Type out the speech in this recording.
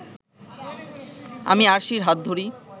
আমি আরশির হাত ধরি